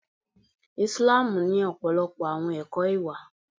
Islamu ni ọpọlọpọ àwọn ẹkọ ìwà.